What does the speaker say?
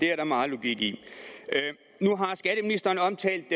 er der meget logik i nu har skatteministeren omtalt